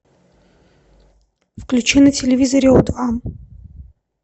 включи на телевизоре о два